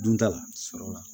Dunta la sɔrɔ